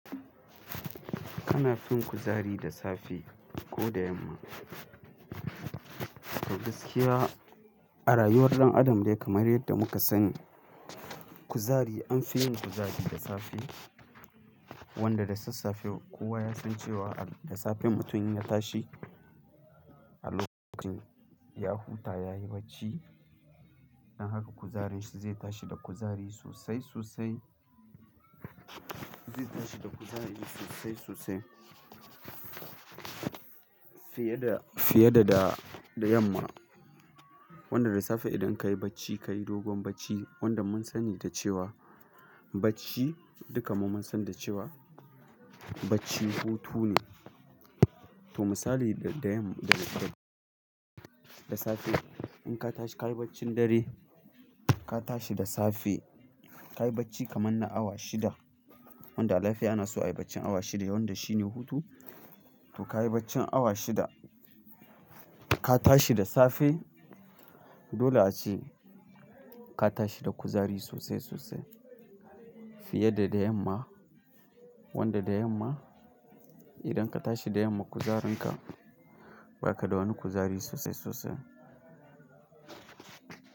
Kana fin kuzari da safe ko da yamma? To gaskiya a rayuwar ɗan adam dai kamar yadda muka sani kuzari an fi yin kuzari da safe. Wanda da sassafe kowa ya san cewa da safe mutumin inya ta shi a lokacin ya huta yayi bacci, don haka kuzarin shi zai tashi da kuzari sosai sosai, zai tashi da kuzari sosai sosai fiye da, fiye da, da, da yamma. Wanda da safe idan ka yi bacci, ka yi dogon bacci wanda mun sani da cewa bacci duka mu mun san da cewa bacci hutu ne. To misali da, da yam, da, da safe in ka tashi ka yi baccin dare ka tashi da safe, ka yi bacci kaman na awa shida wanda a lafiya ana so a yi baccin awa shida wanda shi ne hutu. To ka yi baccin awa shida ka tashi da safe dole a ce ka tashi da kuzari sosai sosai fiye da da yamma. Wanda da yamma idan ka tashi da yamma kuzarin ka ba ka da wani kuzari sosai sosai.